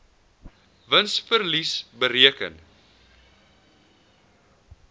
wins verlies bereken